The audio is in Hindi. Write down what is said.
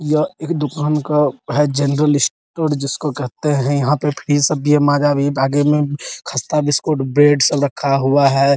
यह एक दुकान का है जेनरल स्टोर जिसको कहते हैं | यहाँ पर फीस सब भी है माजा भी आगे मे खस्ता बिस्कुट ब्रेड सब रखा हुआ है ।